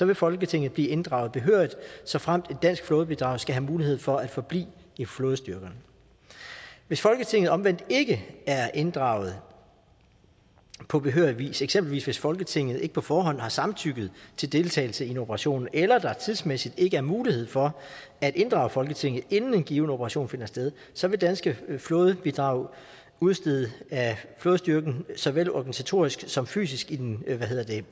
vil folketinget blive inddraget behørigt såfremt et dansk flådebidrag skal have mulighed for at forblive i flådestyrkerne hvis folketinget omvendt ikke er inddraget på behørig vis eksempelvis hvis folketinget ikke på forhånd har samtykket til deltagelse i en operation eller at der tidsmæssigt ikke er mulighed for at inddrage folketinget inden en given operation finder sted så vil danske flådebidrag udstedes af flådestyrken såvel organisatorisk som fysisk i den